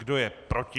Kdo je proti?